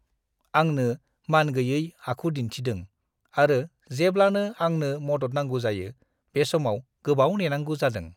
आंनो मानगैयै आखु दिन्थिदों आरो जेब्लानो आंनो मदद नांगौ जायो, बे समाव गोबाव नेनांगौ जादों!